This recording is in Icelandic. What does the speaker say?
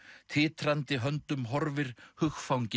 titrandi höndum horfir hugfangin